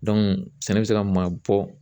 sɛnɛ bɛ se ka maa bɔ